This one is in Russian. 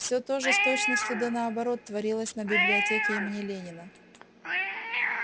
все то же с точностью до наоборот творилось на библиотеке имени ленина